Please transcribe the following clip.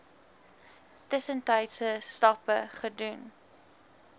tussentydse stappe gedoen